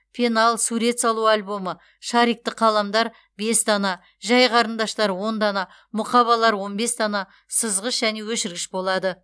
пенал сурет салу альбомы шарикті қаламдар бес дана жай қарындаштар он дана мұқабалар он бес дана сызғыш және өшіргіш болады